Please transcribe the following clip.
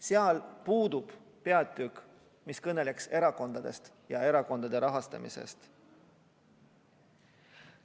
Seal puudub peatükk, mis kõneleks erakondadest ja erakondade rahastamisest.